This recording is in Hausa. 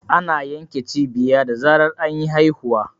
Ana yanke cibiya da zarar anyi haihuwa.